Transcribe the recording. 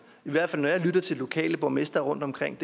hvert fald når jeg lytter til lokale borgmestre rundtomkring i